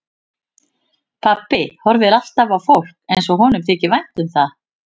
Pabbi horfir alltaf á fólk eins og honum þyki vænt um það.